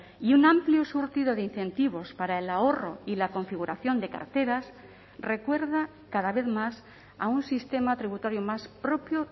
y un amplio surtido de incentivos para el ahorro y la configuración de carteras recuerda cada vez más a un sistema tributario más propio